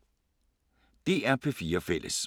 DR P4 Fælles